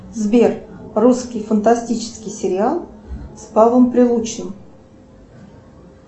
сбер русский фантастический сериал с павлом прилучным